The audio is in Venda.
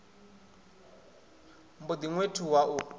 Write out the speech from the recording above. mb o ḓi ṅwethuwa u